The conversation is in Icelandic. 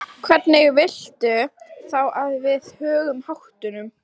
Hvernig viltu þá að við högum háttunum?